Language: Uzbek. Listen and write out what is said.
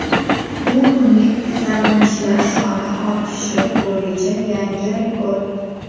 Bu kunlik kasallanishlar soni ortishi bo‘yicha yangi rekord.